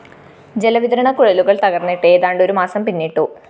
ജലവിതരണ കുഴലുകള്‍ തകര്‍ന്നിട്ട് ഏതാണ്ട് ഒരുമാസം പിന്നിട്ടു